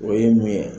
O ye mun ye